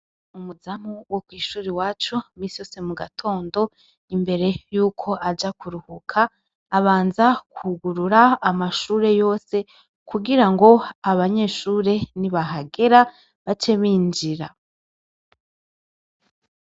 Umuzamu wo kw'ishuri iwacu misi yose mu gatondo imbere yuko aja kuruhuka, abanza kwugurura amashure yose kugira ngo abanyeshure nibahagera bace binjira.